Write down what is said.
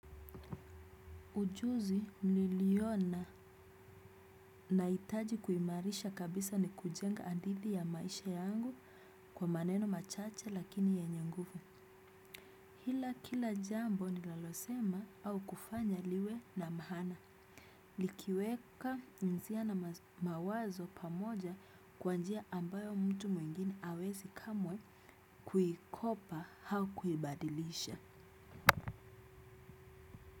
Ujuzi niliona nahitaji kuimarisha kabisa ni kujenga hadithi ya maisha yangu kwa maneno machache lakini yenye nguvu. Ila kila jambo nilolosema au kufanya liwe na maana. Likiweka mzia na mawazo pamoja kwa njia ambayo mtu mwingine hawezi kamwe kuikopa au kuibadilisha.